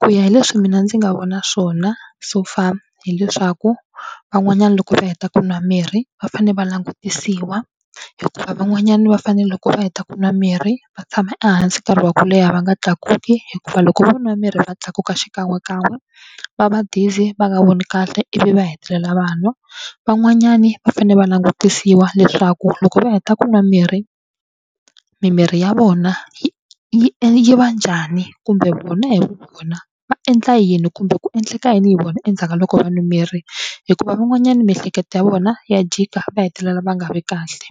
Ku ya hi leswi mina ndzi nga vona swona so far hileswaku van'wanyana loko va heta ku nwa mirhi va fane va langutisiwa hikuva van'wanyana va fane loko va heta ku nwa mirhi va tshama ehansi nkarhi wa ku leha va nga tlakuki hikuva loko va nwa mirhi va tlakuka xikan'wekan'we va va dizzy va nga voni kahle ivi va hetelela va wa. Van'wanyani va fanele va langutisiwa leswaku loko va heta ku nwa mirhi mimiri ya vona yi yi yi va njhani kumbe vona hi vu vona va endla yini kumbe ku endleka yini hi vona endzhaku ka loko va nwa mirhi hikuva van'wanyana miehleketo ya vona ya jika va hetelela va nga vi kahle.